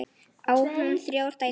Á hún þrjár dætur.